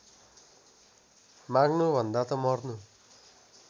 माग्नुभन्दा त मर्नु